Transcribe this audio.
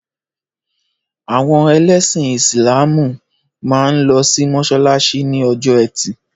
Àwọn ẹlẹ́sìn Ísílàmù máa ń lọ sí mọ́sálásí ní ọjọ́ ẹtì.